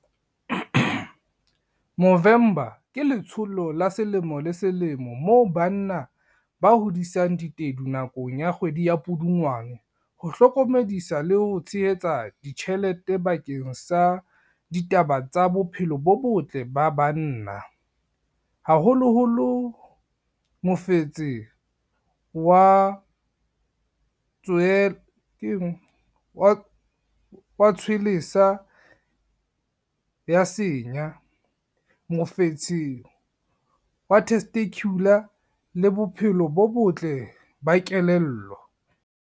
Movember ke letsholo la selemo le selemo moo banna ba hodisang ditedu nakong ya kgwedi ya Pudungwana. Ho hlokomedisa le ho tshehetsa ditjhelete bakeng sa ditaba tsa bophelo bo botle ba banna, haholoholo mofetse wa tshwelesa ya senya, mofetshe wa testicular le bophelo bo botle ba kelello.